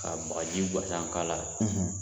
Ka bagaji ka k'a la